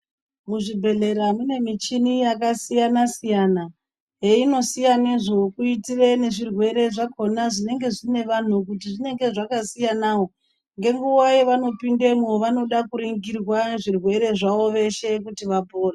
Muzvibhodhlera mune michini yakasiyana siyana heinosiyanezvo kuitire nezvirwere zvakona zvinenge zvine vantu zvinenge zvakasiyanawo ngenguwa yavanopindemo vanoda kuringirwa zvirwere zvavo vapore.